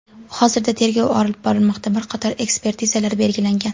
Hozirda tergov olib borilmoqda, bir qator ekspertizalar belgilangan.